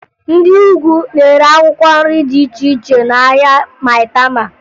Ndị Ugwu na-ere akwụkwọ nri dị iche iche n'ahịa Mayịtama